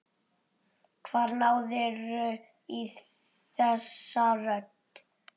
Hvar náðirðu í þessa rödd?